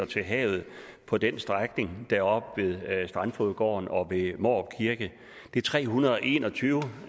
til havet på den strækning deroppe ved strandfogedgården og ved mårup kirke det er tre hundrede og en og tyve